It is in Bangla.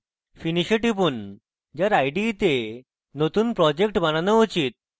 finish a টিপুন যার ide say নতুন project বানানো উচিত